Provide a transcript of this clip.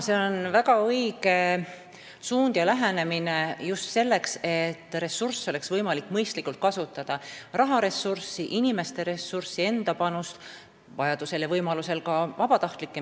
See on väga õige suund ja lähenemine, selleks et ressursse oleks võimalik mõistlikult kasutada: raha, inimeste enda panust, vajadusel ja võimalusel ka vabatahtlikke.